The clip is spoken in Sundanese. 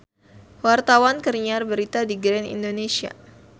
Wartawan keur nyiar berita di Grand Indonesia